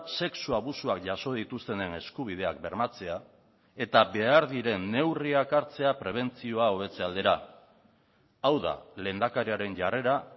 sexu abusuak jaso dituztenen eskubideak bermatzea eta behar diren neurriak hartzea prebentzioa hobetze aldera hau da lehendakariaren jarrera